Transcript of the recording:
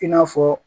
I n'a fɔ